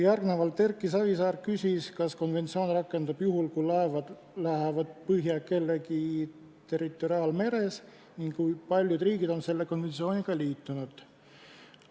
Erki Savisaar küsis veel, kas konventsioon rakendub juhul, kui laevad lähevad põhja kellegi territoriaalmeres, ning kui paljud riigid on selle konventsiooniga liitunud.